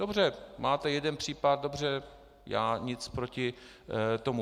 Dobře, máte jeden případ, dobře, já nic proti tomu.